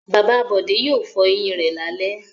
Bàbá Bọ̀dé yóò fọ eyín rẹ̀ lálẹ́.